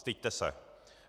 Styďte se!